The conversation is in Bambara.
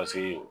Paseke